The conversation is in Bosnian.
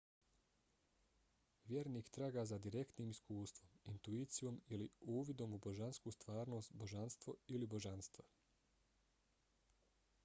vjernik traga za direktnim iskustvom intuicijom ili uvidom u božansku stvarnost/božanstvo ili božanstva